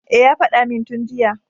E, ya faɗa min tun jiya.